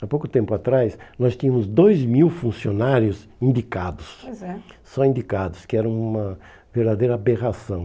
Há pouco tempo atrás, nós tínhamos dois mil funcionários indicados, pois é, só indicados, que era uma verdadeira aberração.